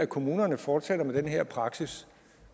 kommunerne fortsætter med den her praksis